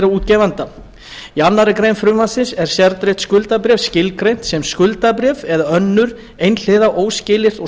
útgefanda í annarri grein frumvarpsins er sértryggt skuldabréf skilgreint sem skuldabréf eða önnur einhliða óskilyrt og